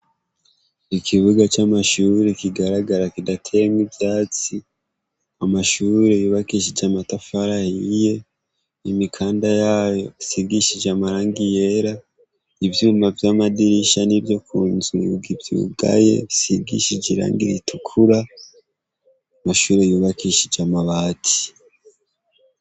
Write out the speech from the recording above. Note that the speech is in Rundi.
Ikibuga c'amashure kigaragara kidateyemwo ivyatsi, amashure yubakishije amatafari ahiye, imikanda yayo isigishije amarangi yera, ivyuma vyamadirisha nivyo kunzu bikivyugaye bisigisije irangi ritukura, amashure yubakishije amabati.